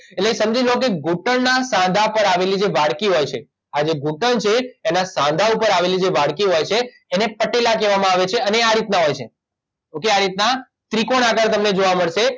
એટલે સમજી લ્યો કે ઘૂંંટણ ના સાંધા પર આવેલી જે વાડકી હોય છે આ જે ઘૂંટણ છે એના સાંધા ઉપર આવેલી જે વાડકી હોય છે એને પટેલા કહેવામાં આવે છે અને એ આ રીતના હોય છે ઓકે આ રીતના ત્રિકોણ આકાર તમને જોવા મળશે